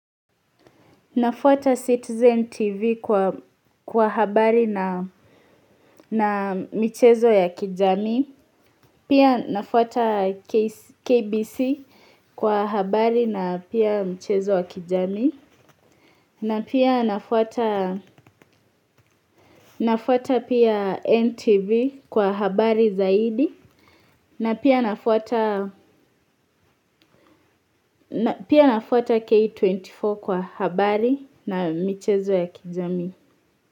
Nafuata Citizen TV kwa habari na michezo ya kijamii. Pia nafuata KBC kwa habari na pia michezo ya kijami. Na pia nafuata NTV kwa habari zaidi. Na pia nafuata K24 kwa habari na michezo ya kijami.